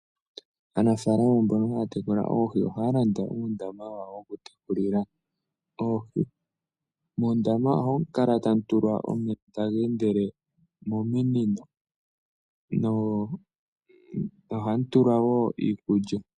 Aanafalama mbono haya tekula oohi ohaya landa uundama wawo wokutekulila oohi. Mondama ohamu kala tamu tulwa omeya taga endele mominino noshowo hamu tutulwa wo iikulya.